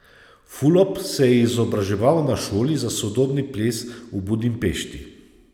Fulop se je izobraževal na šoli za sodobni ples v Budimpešti.